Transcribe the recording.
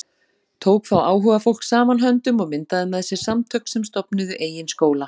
Tók þá áhugafólk saman höndum og myndaði með sér samtök sem stofnuðu eigin skóla.